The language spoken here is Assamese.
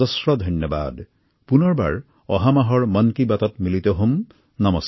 আমি অহা মাহত মন কী বাতৰ আন এটি খণ্ডত আপোনালোকৰ সৈতে পুনৰ সাক্ষাৎ হম